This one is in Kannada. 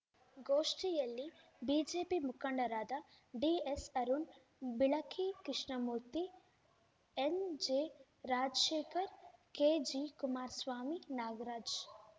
ಗೋಷ್ಠಿಯಲ್ಲಿ ಬಿಜೆಪಿ ಮುಖಂಡರಾದ D S Arun Bilaki Krishnamurthy N J ರಾಜ್ಶೇಖರ್‌ ಕೆಜಿಕುಮಾರ್ಸ್ವಾಮಿ Nagaraj